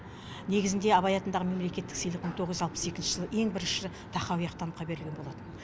негізінде абай атындағы мемлекеттік сыйлық мың тоғыз жүз алпыс екінші жылы ең бірінші тахауи ахтановқа берілген болатын